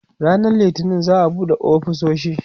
ranan littani za'a buɗe ofisoshi